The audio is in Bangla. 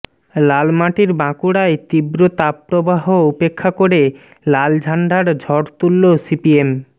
লালমাটির বাঁকুড়ায় তীব্র তাপপ্রবাহ উপেক্ষা করে লাল ঝাণ্ডার ঝড় তুললো সিপিএম